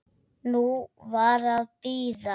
Nú var að bíða.